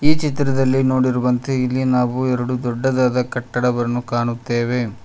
ಈ ಚಿತ್ರದಲ್ಲಿ ನೋಡಿರುವಂತೆ ಇಲ್ಲಿ ನಾವು ಎರಡು ದೊಡ್ಡದಾದ ಕಟ್ಟಡವನ್ನು ಕಾಣುತ್ತೇವೆ.